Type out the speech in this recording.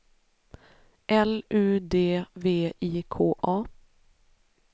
L U D V I K A